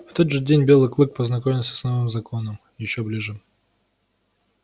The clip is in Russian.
в тот же день белый клык познакомился с новым законом ещё ближе